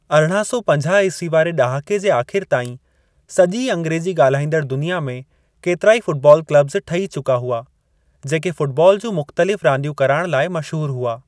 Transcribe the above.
1850 ईस्वी वारे ॾहाके जे आख़िर ताईं सॼी अंग्रेज़ी ॻालहाईंदड़ दुनिया में केतिरा ई फ़ुटबॉल क्लबस ठही चुका हुआ जेके फ़ुटबॉल जूं मुख़्तलिफ़ रांदियूं कराइणु लाइ मशहूरु हुआ।